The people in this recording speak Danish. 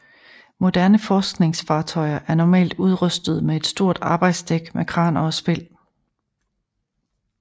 Moderne forskningsfartøjer er normalt udrustede med et stort arbejdsdæk med kraner og spil